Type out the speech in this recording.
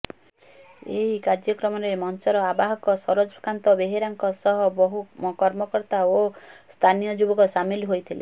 ଏହି କାର୍ଯ୍ୟକ୍ରମରେ ମଞ୍ଚର ଆବାହକ ସରୋଜକାନ୍ତ ବେହେରାଙ୍କ ସହ ବହୁ କର୍ମକର୍ତ୍ତା ଓ ସ୍ଥାନୀୟ ଯୁବକ ସାମିଲ ହୋଇଥିଲେ